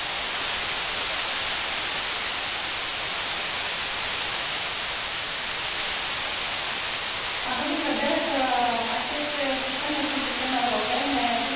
Având în vedere că aceste sisteme sunt sisteme europene, cu siguranță ele vor respecta cadrul legislativ european în privința datelor cu caracter personal.